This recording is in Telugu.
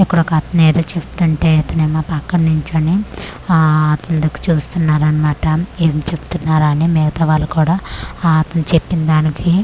ఉక్కడొకతనేదో చెప్తుంటే ఇతనేమో పక్కన నించొని ఆ కిందకు చూస్తున్నారన్మాట ఏం చెబుతున్నారని మిగతా వాళ్లు కూడా ఆ అతను చెప్పిందానికి--